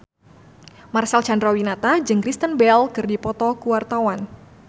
Marcel Chandrawinata jeung Kristen Bell keur dipoto ku wartawan